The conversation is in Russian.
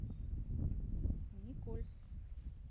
никольск